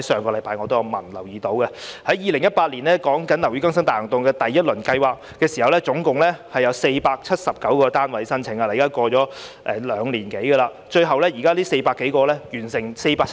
2018年的第一輪"樓宇更新大行動"，接獲的合資格申請共涵蓋479幢樓宇；至今已兩年多，但479幢樓宇只完成了4幢。